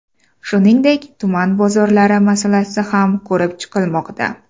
Shuningdek, tuman bozorlari masalasi ham ko‘rib chiqilmoqda.